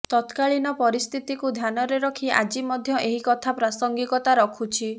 ତକ୍ରାଳୀନ ପରିସ୍ଥିତିକୁ ଧ୍ୟାନରେ ରଖି ଆଜି ମଧ୍ୟ ଏହି କଥା ପ୍ରାସଙ୍ଗିକତା ରଖୁଛି